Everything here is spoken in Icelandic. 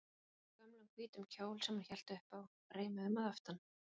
Hún í gömlum hvítum kjól sem hún hélt upp á, reimuðum að aftan.